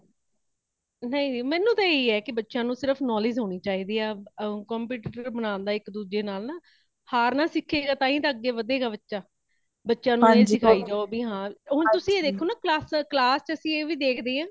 ਨਹੀਂ, ਨਹੀਂ ਮੇਨੂ ਤੇ ਹੀ ਏ ਕੇ ਬੱਚਿਆਂ ਨੂੰ ਸਿਰਫ knowledge ਹੋਣੀ ਚਾਹੀਦੀ ਹੈ। competitor ਬਨਾਣ ਦਾ ਇਕ ਦੂਜੇ ਨਾਲ ਨਾ , ਹਾਰਨਾ ਸਿੱਖੇ ਗਾ ,ਤਾਈ ਤਾ ਅੱਗੇ ਵਧੇ ਗਾ ਬੱਚਾ, ਬੱਚੇ ਨਾਲ ਹੀ ਸਿਖਾਈ ਜਾਓ ਹੁਣ ਤੁਸੀਂ ਦੇਖੋ ਨਾ class ਚ ਅਸੀ ਇਹ ਵੀ ਦੇਖਦੇ ਆ